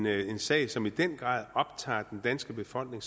at en sag som i den grad optager den danske befolkning